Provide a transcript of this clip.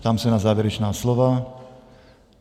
Ptám se na závěrečná slova.